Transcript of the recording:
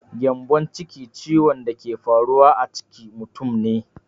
Gyambonciki ciwon da ke faruwa a ciki mutum ne.